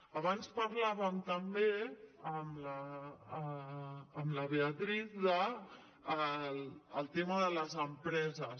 abans parlàvem també amb la beatriz del tema de les empreses